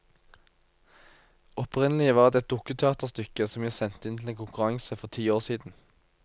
Opprinnelig var det et dukketeaterstykke som jeg sendte inn til en konkurranse for ti år siden.